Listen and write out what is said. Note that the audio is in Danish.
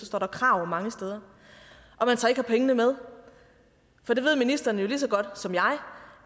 står krav mange steder og man så ikke har pengene med for det ved ministeren jo lige så godt som jeg